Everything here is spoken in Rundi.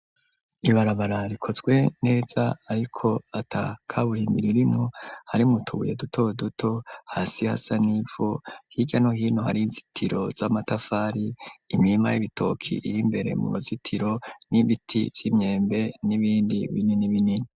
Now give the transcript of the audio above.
Ibarabara rikozwe neza ariko atakaburimbi ririmo, hari mu tubuye duto duto hasi hasanivu hijyano hino hari inzitiro z'amatafari imima y'ibitoki iri mbere mu ruzitiro n'ibiti by'imyembe n'ibindi binini binini.